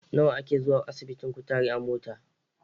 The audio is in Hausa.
Nawa ake zuwa asibitin kutare a mota?